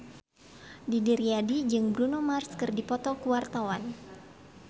Didi Riyadi jeung Bruno Mars keur dipoto ku wartawan